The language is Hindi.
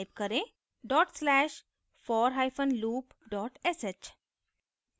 type करें /forloop sh